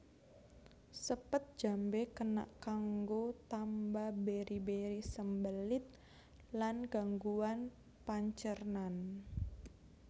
Sepet jambé kena kanggo tamba beri beri sembelit lan gangguan pancernan